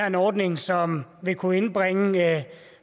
en ordning som vil kunne indbringe